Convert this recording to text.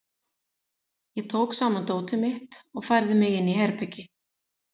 Ég tók saman dótið mitt og færði mig inn í herbergi.